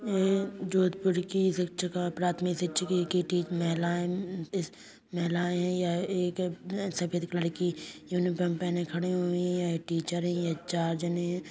जोधपुर की शिक्षका प्राथमिक शिक्षा कि टी महिलाए मम्म महिलाए है अम्म यह सफेद कलर की यूनिफार्म पहने खड़े हुये है यह टीचर है यह चार जने हैं|